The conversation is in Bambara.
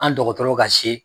An dɔgɔtɔrɔ ka si